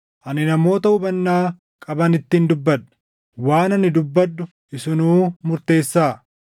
Ani namoota hubannaa qabanittin dubbadha; waan ani dubbadhu isinuu murteessaa.